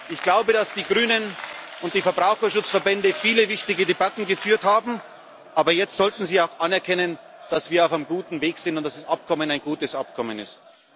Ich glaube, dass die Grünen und die Verbraucherschutzverbände viele wichtige Debatten geführt haben, aber jetzt sollten sie auch anerkennen, dass wir auf einem guten Weg sind und dass das Abkommen ein gutes Abkommen ist.